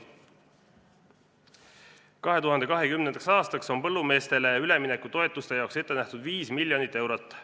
2020. aastaks on põllumeestele üleminekutoetuste jaoks ette nähtud 5 miljonit eurot.